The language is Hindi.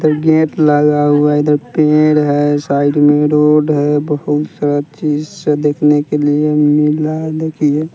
गेट लगा हुआ है इधर पेड़ है साइड में रोड है बहुत सारा चीज सा देखने के लिए मिल रहा है देखिए--